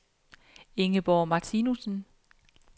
Ingeborg Martinussen